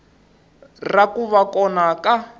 ra ku va kona ka